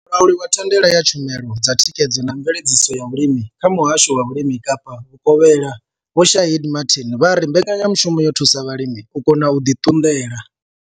Mulauli wa thandela ya tshumelo dza thikhedzo na mveledziso ya vhulimi kha muhasho wa vhulimi Kapa vhukovhela Vho Shaheed Martin vha ri mbekanyamushumo yo thusa vhalimi u kona u ḓi ṱunḓela.